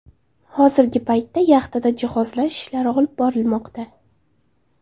Hozirgi paytda yaxtada jihozlash ishlari olib borilmoqda.